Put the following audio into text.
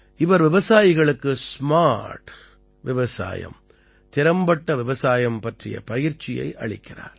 இவர் விவசாயிகளுக்கு ஸ்மார்ட் திறம்பட்ட விவசாயம் பற்றிய பயிற்சியை அளிக்கிறார்